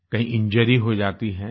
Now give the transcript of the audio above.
कहीं इंजुरी हो जाती है